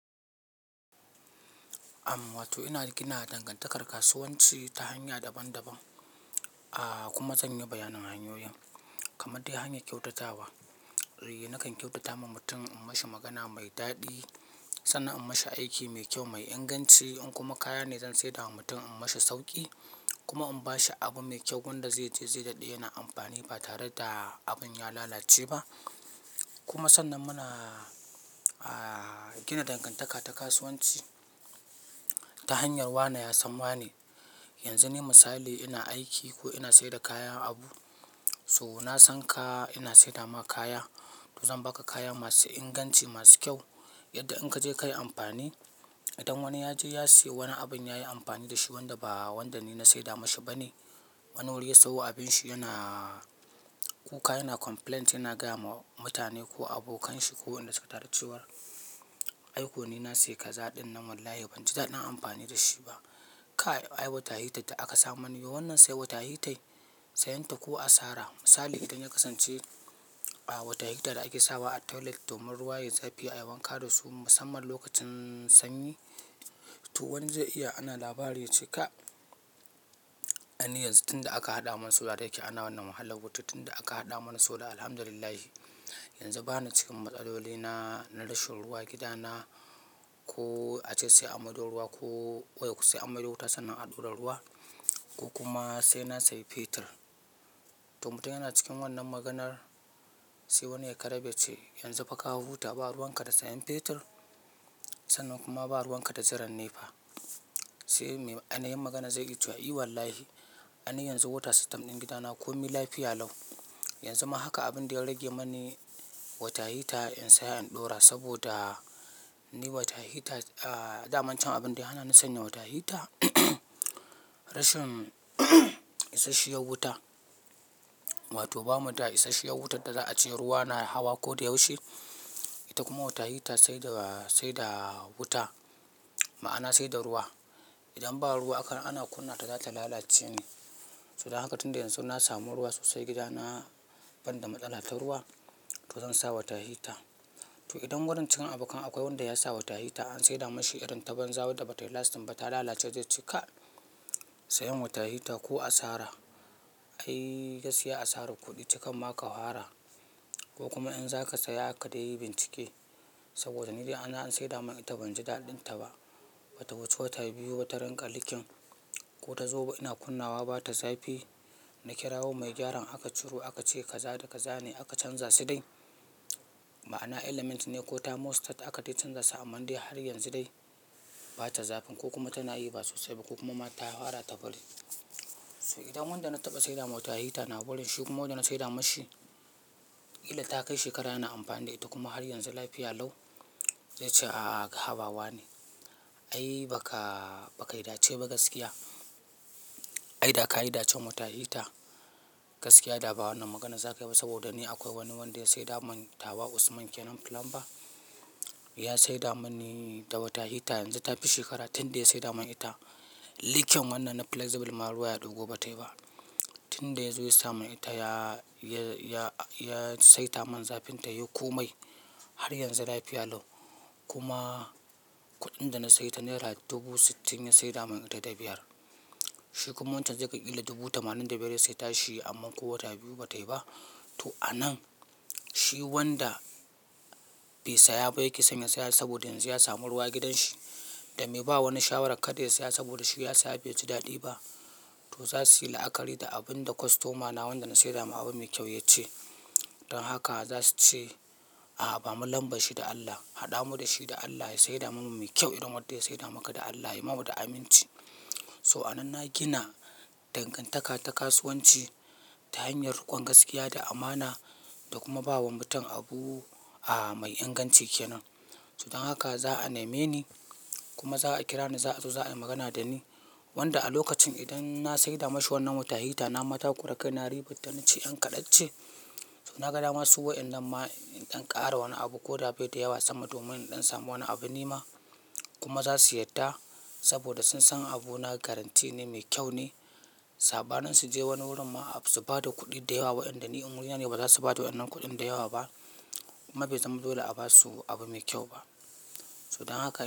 Amma wato inaga kinada dangantakar kasuwanci ta hanya daban-daban. Aaa kuma zan yi bayanin hanyoyin, kamar dai hanyar kyautatawa. Eh, nakan kyautata ma mutum in mashi magana mai daɗi, sannan in mashi aiki mai kyau mai inganci in kuma kaya ne zan saida wa mutum in mashi sauƙi kuma in bashi abu mai kyau wanda zai je zai daɗe yana amfani ba tare da abun ya lalace ba. Kuma sannan muna, aaa gina dangantaka ta kasuwanci ta hanyar wane ya san wane. Yanzu ni misali ina aiki ko ina saida kaya, abu. So na san ka ina saida ma kaya to zan baka kaya masu inganci masu kyau yadda in ka je ka yi amfani. Idan wani ya je ya siyo wani abun ya yi amfani da shi wanda ba wanda ni na saida mashi ba ne, wani wuri ya siyo abin shi yana kuka yana complaint yana gaya ma mutane ko abokan shi ko wanda suka taru cewa "ai ko ni na sayi kaza ɗinnan wallahi banji daɗin amfani da shi ba. Kai ai water heater da aka sa mani wannan sai water heater sayan ta ko a sara." Misali idan ya kasance, aaa wata heater da ake sawa a toilet domin ruwa yayi zafi ayi wan kada su, musamman lokacin sanyi. To wani zai iya ana labari ya ce "ka, an yi yanzu tunda aka haɗa mana solar da yake ana wannan wahala. Wato tunda aka haɗa mana solar Alhamdulillah yanzu ba ni cikin matsaloli na, na rashin ruwa gida na. Ko a ce sai an maɗo ruwa ko wayo sai an maɗo wuta sannan a ɗora ruwa. Ku kuma sai na sayi fetir." To mutum yana cikin wannan maganar sai wani ya karabe ce "yanzu fa ka huta ba ruwan ka da sayan fetir sannan kuma ba ruwan ka da jiran nepa." Sai me, anayin magana zai yi cewa "I wallahi, ai ni yanzu water system din gida na komi lafiya lau. Yanzu ma haka abin da ya rage mani water heater in saya in ɗora saboda ni water heater, aaa dama can abin da hana ni sanya water heater rashin isasshiyar wuta. Wato bamu da isasshiyar wutar da za a ce ruwa na hawa ko da yaushe. Ita kuma water heater saida, saida wuta ma'ana saida ruwa. Idan ba ruwa aka, ana kunna ta za ta lalace ne. So dan haka tunda yanzu na samu ruwa sosai gida na banda matsala ta ruwa to zan sa water heater." To idan wurin cikin abokan akwai wanda ya sa water heater an saida mashi idan ta banza wadda ba tayi lasting ba ta lalace zai ce "ka sayan water heater ko a sara. Ai gaskiya asarar kuɗi ce kar ma ka hara." Ko kuma in zaka saya kadaiyi bincike saboda ni da an, an saida mun ita banji daɗin ta ba. Bata wuce wata biyu ba ta rinƙa leaking ko ta zo ina kunnawa bata zafi. Na kirawo mai gyaran aka ce kaza da kaza ne aka canza su dai. Ma'ana element ne ko thermostat aka canza su aman dai har yanzu dai bata zafin ko kuma tana yi ba sosai ba ko kuma ma ta hara ta faɗi. So idan wanda na taɓa saida mun water heater na wurin shi kuma wanda na saida mashi illa ta kai shekara yana amfani da ita kuma har yanzu lafiya lau, zai ce "a'a, habawa ne. Ai baka, baka yi dace ba gaskiya. Ai da ka yi dacen water heater gaskiya da ba wannan maganan za ka yi ba saboda ni akwai wani wanda ya saida mun tawa Usman kenan plumber. Ya saida mani water heater yanzu ta fi shekara tunda ya saida mun ita. Leaking wannan na flexible ma ruwa ya ɗugo bata yi ba. Tunda ya zo ya sami ita ya, ya, ya, ya saita mun zafin ta yau komai har yanzu lafiya lau. Kuma kuɗin da na sayi ta naira dubu sittin ya saida mun ita da biyar. Shi kuma wancan zai ga kila dubu tamanin ya sayi ta shi amma ko wata biyu bata yi ba." To a nan shi wanda bai siya ba yake sanya siya saboda yanzu ya samu ruwa gidan shi da mai ba wani shawara kada ya siya saboda shi ya siya bai ji daɗi ba. To za su yi la'akari da abun da kostomana wanda na saida ma abu mai kyau ya ce. Don haka za su ce "a'a bamu lambar shi da Allah, haɗamu da shi da Allah ya saida mun mu mai kyau irin wadda ya saida maka da Allah. Yayi ma mu da aminci." So a nan na gina dangantaka ta kasuwanci ta hanyar riƙon gaskiya da amana da kuma bawa mutum abu, a'a mai inganci kenan. So dan haka za a neme ni kuma za a kira ni za a zo za a yi magana da ni. Wanda a lokacin idan na saida mashi wannan water heater na mataƙura kai na ribita na ce "yan kaɗa ce." To na ga dama su wa'innan ma, in ɗan ƙara wani abu ko da bai da yawa sama domin ɗan samu wani abu nima. Kuma za su yadda saboda sun san abu na garanti ne mai kyau ne. Saɓanin su je wani wurin ma su bada kuɗi da yawa wa'inda ni in wurina ne ba za su bada wannan kuɗin da yawa ba kuma bai zama dole a ba su abu mai kyau ba. So dan haka.